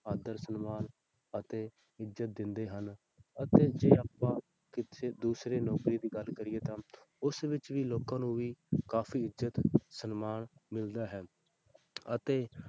ਆਦਰ ਸਨਮਾਨ ਅਤੇ ਇੱਜ਼ਤ ਦਿੰਦੇ ਹਨ ਅਤੇ ਜੇ ਆਪਾਂ ਕਿਸੇ ਦੂਸਰੇ ਨੌਕਰੀ ਦੀ ਗੱਲ ਕਰੀਏ ਤਾਂ ਉਸ ਵਿੱਚ ਵੀ ਲੋਕਾਂ ਨੂੰ ਵੀ ਕਾਫ਼ੀ ਇੱਜ਼ਤ ਸਨਮਾਨ ਮਿਲਦਾ ਹੈ ਅਤੇ